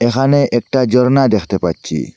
এখানে একটা ঝর্ণা দেখতে পাচ্ছি।